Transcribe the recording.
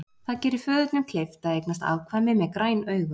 Það gerir föðurnum kleyft að eignast afkvæmi með græn augu.